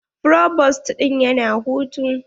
Provost ɗin ya na hutu.